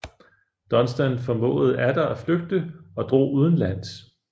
Dunstan formåede atter at flygte og drog udenlands